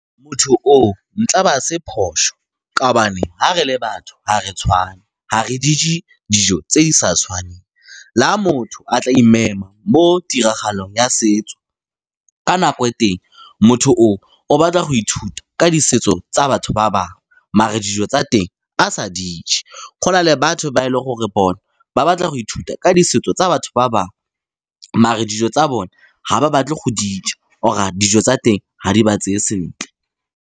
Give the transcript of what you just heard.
Motho oo, ntla ba se phoso ka gobane ga re le batho ga re tshwane, ga re di je dijo tse di sa tshwaneng. Le ga motho a tla imema mo tiragalong ya setso, ka nako ya teng motho o, o batla go ithuta ka di setso tsa batho ba bangwe, mare dijo tsa teng a sa di je. Go na le batho ba e leng gore bona ba batla go ithuta ka di setso tsa batho ba bangwe, mare dijo tsa bone ga ba batle go di ja or dijo tsa teng ga di ba tseye sentle.